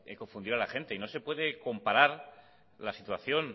confundir a la gente y no se puede comparar la situación